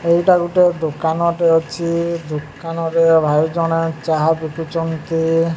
ଏଇଟା ଗୁଟେ ଦୁକାନ ଟେ ଅଛି ଦୁକାନ ରେ ଭାଇ ଜଣେ ଚାହା ବିକୁଛନ୍ତି।